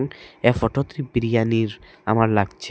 এই ফোটো ত্রে বিরিয়ানির আমার লাগচে।